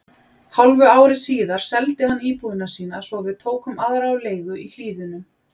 Hálfu ári síðar seldi hann íbúðina sína svo við tókum aðra á leigu í Hlíðunum.